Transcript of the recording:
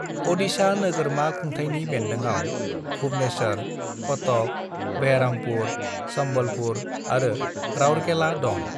"अडिशा नोगोरमा खुंथाइनि बेन्दोंआव भुवनेश्वर, कटक, बेरहामपुर, संबलपुर आरो राउरकेला दं।"